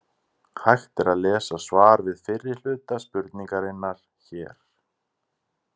Hægt er að lesa svar við fyrri hluta spurningarinnar hér.